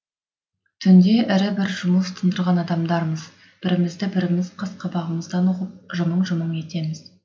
түнде ірі бір жұмыс тындырған адамдармыз бірімізді біріміз қас қабағымыздан ұғып жымың жымың етеміз